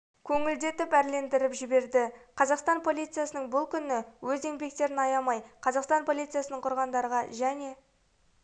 көңілді етіп әрлендіріп жіберді қазақстан полициясының күні бұл өз еңбектерін аямай қазақстан полициясын құрғандарға және